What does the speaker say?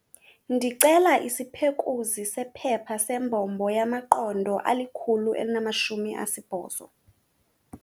Ndicela isiphekuzi sephepha sembombo yamaqondo ali-180.